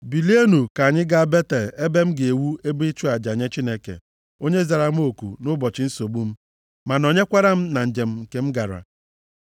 Bilienụ, ka anyị gaa Betel, ebe m ga-ewu ebe ịchụ aja nye Chineke, onye zara m oku nʼụbọchị nsogbu m, ma nọnyekwara m na njem nke m gara.”